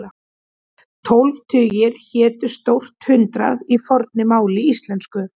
Tólf tugir hétu stórt hundrað í fornu máli íslensku.